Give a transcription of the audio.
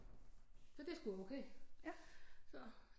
Så det er sgu okay så